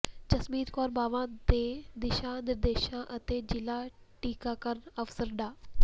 ਜਸਮੀਤ ਕੌਰ ਬਾਵਾ ਦੇ ਦਿਸ਼ਾ ਨਿਰਦੇਸ਼ਾਂ ਅਤੇ ਜ਼ਿਲ੍ਹਾ ਟੀਕਾਕਰਨ ਅਫਸਰ ਡਾ